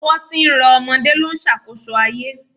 Ọwọ́ tí ń rọ ọmọdé ló ń ṣàkóso ayé